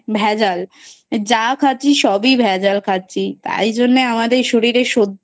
ভেজাল যা খাচ্ছি সবই ভেজাল খাচ্ছি তাই জন্য আমার এ শরীরে সহ্য